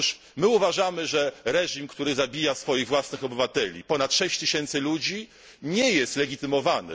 Otóż my uważamy, że reżim, który zabija swoich własnych obywateli, ponad 6000 ludzi, nie jest legitymowany.